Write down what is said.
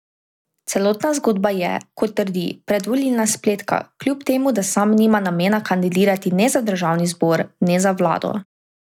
Celotna zgodba je, kot trdi, predvolilna spletka, kljub temu, da sam nima namena kandidirati ne za državni zbor ne za vlado.